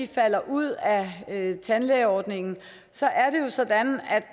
falder ud af tandlægeordningen så